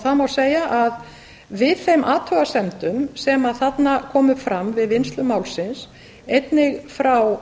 það má segja að við þeim athugasemdum sem þarna komu fram við vinnslu málsins einnig frá